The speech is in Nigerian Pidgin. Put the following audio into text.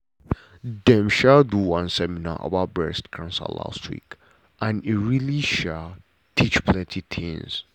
dem um do one seminar about breast cancer last week and e really um teach plenty things.